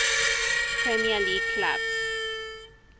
premier league clubs